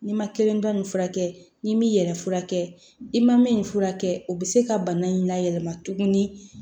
N'i ma kelenba in furakɛ n'i m'i yɛrɛ furakɛ i ma min furakɛ o bɛ se ka bana in layɛlɛma tuguni